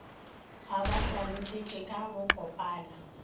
a ba hlalošetša ka bokopana